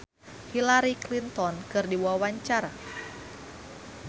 Marchell olohok ningali Hillary Clinton keur diwawancara